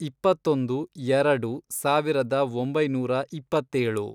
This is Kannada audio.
ಇಪ್ಪತ್ತೊಂದು, ಎರೆಡು, ಸಾವಿರದ ಒಂಬೈನೂರ ಇಪ್ಪತ್ತೇಳು